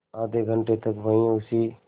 आधे घंटे तक वहीं उसी